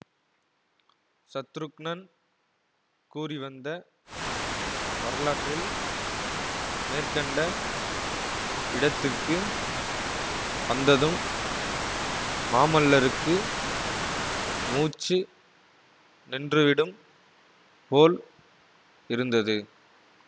சத்ருக்னன் கூறிவந்த வரலாற்றில் மேற்கண்ட இடத்திற்கு வந்ததும் மாமல்லருக்கு மூச்சு நின்றுவிடும் போல் இருந்தது